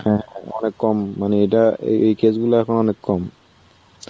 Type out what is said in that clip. হ্যাঁ. অনেক কম. মানে এটা এই এই case গুলো এখন অনেক কম.